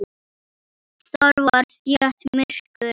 Þar var þétt myrkur.